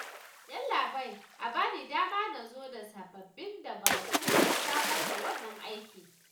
Yallaɓai a ba ni dama na zo da sababbin dabarun samar da wannan aikin